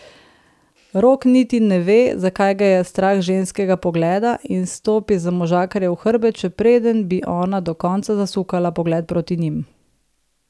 Rok niti ne ve, zakaj ga je strah ženskinega pogleda, in stopi za možakarjev hrbet, še preden bi ona do konca zasukala pogled proti njim.